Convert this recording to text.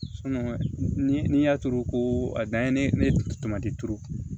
ni y'a turu ko a dan ye ne tomati turu